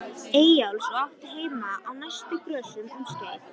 Eyjólfs og átti heima á næstu grösum um skeið.